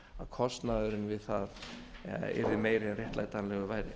kostnaðurinn við það yrði meiri en réttlætanlegur væri